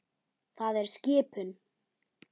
Það er skipun!